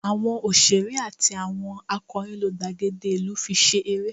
Awọn oṣere ati awọn akọrin lo gbagede ilu fi se ere